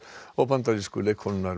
og bandarísku leikkonunnar